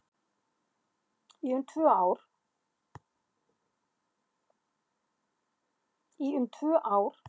Í um tvö ár